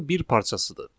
ın bir parçasıdır.